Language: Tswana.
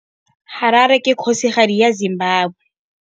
Harare ke kgosigadi ya Zimbabwe.